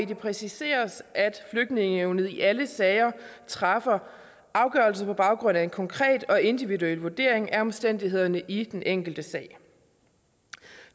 præciseres at flygtningenævnet i alle sager træffer afgørelse på baggrund af en konkret og individuel vurdering af omstændighederne i den enkelte sag